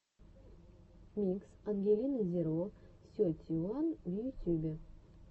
микс ангелины зеро сети уан в ютюбе